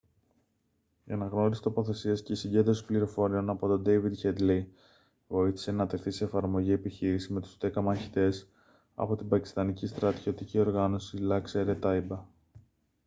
η αναγνώριση τοποθεσίας και η συγκέντρωση πληροφοριών από τον ντέηβιντ χέντλεϊ βοήθησε να τεθεί σε εφαρμογή η επιχείρηση με τους 10 μαχητές από την πακιστανική στρατιωτική οργάνωση laskhar-e-taiba